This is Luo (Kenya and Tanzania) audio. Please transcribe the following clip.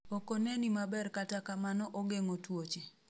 Okoneni maber kata kamano ogeng'o twoche